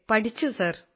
പഠിച്ചു സാർ